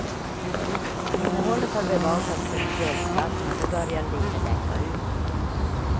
Innehållet har bevakats som en guldskatt men nu börjar lite läcka ut.